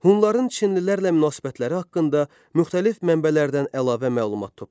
Hunların çinlilərlə münasibətləri haqqında müxtəlif mənbələrdən əlavə məlumat toplayın.